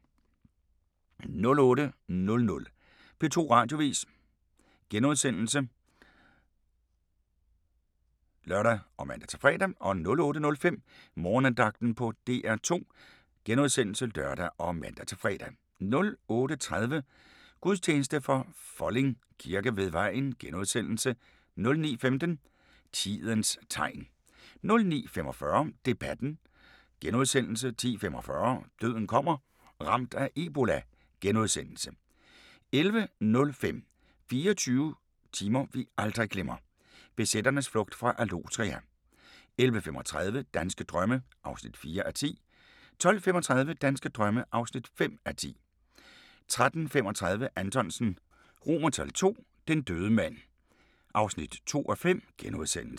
08:00: P2 Radioavis *(lør og man-fre) 08:05: Morgenandagten på DR2 *(lør og man-fre) 08:30: Gudstjeneste fra Folding Kirke ved Vejen * 09:15: Tidens tegn 09:45: Debatten * 10:45: Døden kommer – Ramt af ebola * 11:05: 24 timer vi aldrig glemmer: BZ'ernes flugt fra Allotria 11:35: Danske drømme (4:10) 12:35: Danske drømme (5:10) 13:35: Anthonsen II – Den døde mand (2:5)*